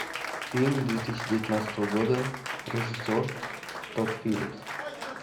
фильм две тысячи девятнадцатого года режиссер тодд филлипс